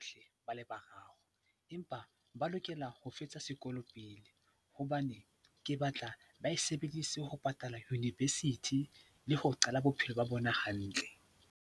Hle ba le bararo empa ba lokela ho fetsa sekolo pele hobane ke batla ba e sebedise ho patala University le ho qala bophelo ba bona hantle.